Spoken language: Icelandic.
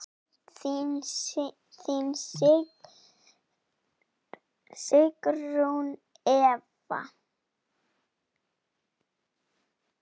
Þín Sigrún Eva.